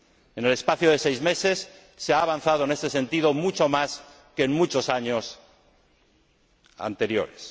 En el espacio de seis meses se ha avanzado en este sentido mucho más que en muchos años anteriores.